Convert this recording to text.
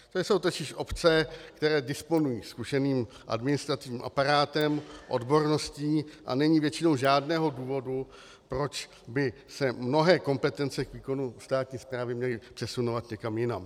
To jsou totiž obce, které disponují zkušeným administrativním aparátem, odborností, a není většinou žádného důvodu, proč by se mnohé kompetence k výkonu státní správy měly přesunovat někam jinam.